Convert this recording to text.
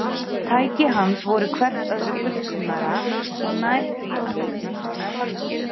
Tæki hans voru hvert öðru fullkomnara og nær því að nefnast tölvur.